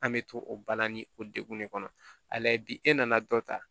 An bɛ to o bana ni o degun de kɔnɔ a la bi e nana dɔ ta